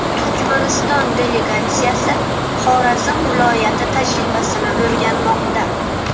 Turkmaniston delegatsiyasi Xorazm viloyati tajribasini o‘rganmoqda.